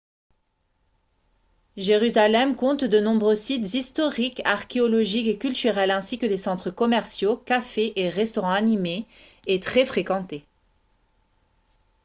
jérusalem compte de nombreux sites historiques archéologiques et culturels ainsi que des centres commerciaux cafés et restaurants animés et très fréquentés